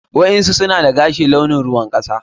waɗansu suna dagashi launin ruwan kasa.